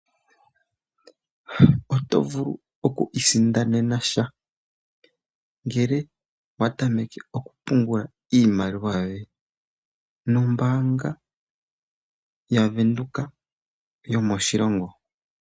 Oto vulu oku isindanena sha ngele owa tameke okupungula iimaliwa yoye nombaanga yaVenduka yomoshilongo.